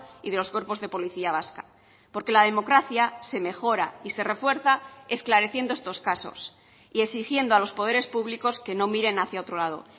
y de los cuerpos de policía vasca porque la democracia se mejora y se refuerza esclareciendo estos casos y exigiendo a los poderes públicos que no miren hacia otro lado